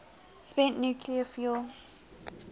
spent nuclear fuel